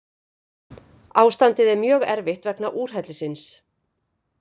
Ástandið er mjög erfitt vegna úrhellisins